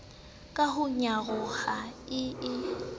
ka ho nyaroha e e